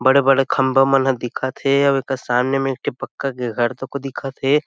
बड़े-बड़े खम्बा मन ह दिखत हे अउ एकर सामने में एक ठी पक्का के घर तको दिखत हे।